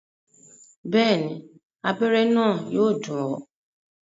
Bẹ́ẹ̀ni, abẹ́rẹ́ náà yóò dùn ọ́